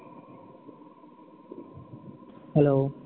hello